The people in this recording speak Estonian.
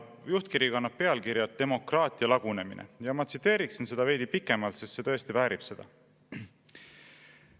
Juhtkiri kannab pealkirja "Demokraatia lagunemine " ja ma tsiteerin seda veidi pikemalt, sest see tõesti väärib seda.